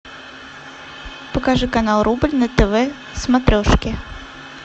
покажи канал рубль на тв смотрешки